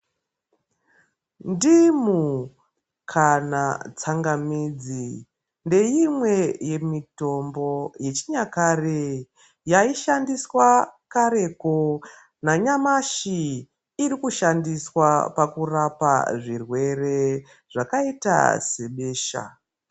Ndimu kana tsangamidzi ndeimwe yemitombo yechinyakare yaishandiswa. Yaishandiswa kareko nanyamashi ichiri kushandiswa pakurapa zvirwere zvakaita sebesha